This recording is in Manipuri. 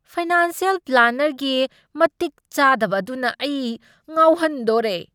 ꯐꯥꯏꯅꯥꯟꯁ꯭ꯌꯦꯜ ꯄ꯭ꯂꯥꯅꯔꯒꯤ ꯃꯇꯤꯛ ꯆꯥꯗꯕ ꯑꯗꯨꯅ ꯑꯩ ꯉꯥꯎꯍꯟꯗꯣꯔꯦ ꯫